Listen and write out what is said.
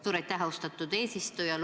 Suur aitäh, austatud eesistuja!